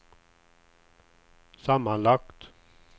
sammanlagt